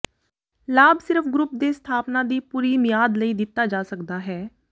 ਲਾਭ ਸਿਰਫ ਗਰੁੱਪ ਦੇ ਸਥਾਪਨਾ ਦੀ ਪੂਰੀ ਮਿਆਦ ਲਈ ਦਿੱਤਾ ਜਾ ਸਕਦਾ ਹੈ